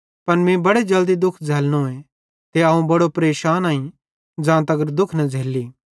पन मीं बड़े जल्दी दुःख झ़ैल्लनोए ते अवं बड़ो परेशानईं ज़ां तगर दुःख न झ़ेल्ली